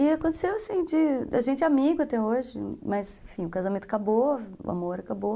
E aconteceu assim, a gente é amigo até hoje, mas, enfim, o casamento acabou, o amor acabou.